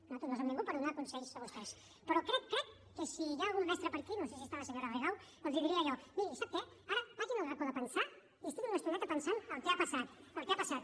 nosaltres no som ningú per donar consells a vostès però crec crec que si hi ha algun mestre per aquí no sé si hi és la senyora rigau els diria allò miri sap què ara vagin al racó de pensar i estiguin una estoneta pensant el que ha passat el que ha passat